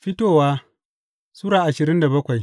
Fitowa Sura ashirin da bakwai